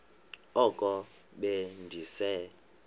oko be ndise